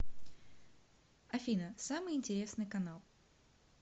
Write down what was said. афина самый интересный канал